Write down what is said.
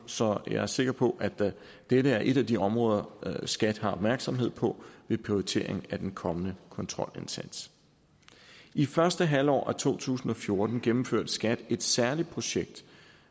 så jeg er sikker på at dette er et af de områder som skat har opmærksomhed på ved prioriteringen af den kommende kontrolindsats i første halvår af to tusind og fjorten gennemførte skat et særligt projekt